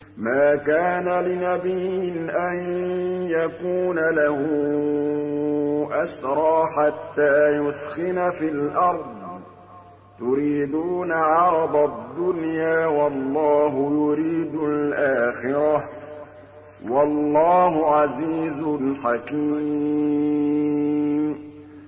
مَا كَانَ لِنَبِيٍّ أَن يَكُونَ لَهُ أَسْرَىٰ حَتَّىٰ يُثْخِنَ فِي الْأَرْضِ ۚ تُرِيدُونَ عَرَضَ الدُّنْيَا وَاللَّهُ يُرِيدُ الْآخِرَةَ ۗ وَاللَّهُ عَزِيزٌ حَكِيمٌ